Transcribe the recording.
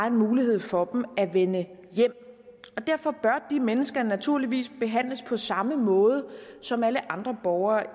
en mulighed for dem at vende hjem og derfor bør de mennesker naturligvis behandles på samme måde som alle andre borgere